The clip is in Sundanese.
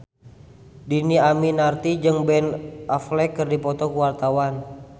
Dhini Aminarti jeung Ben Affleck keur dipoto ku wartawan